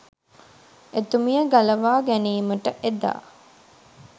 එතුමිය ගලවා ගැනීමට එදා